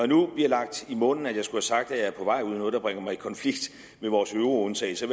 nu bliver lagt i munden at jeg skulle have sagt at jeg er på vej ud i noget der bringer mig i konflikt med vores euro undtagelse